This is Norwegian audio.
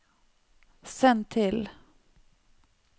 send til